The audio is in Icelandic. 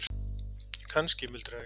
Kannski, muldra ég.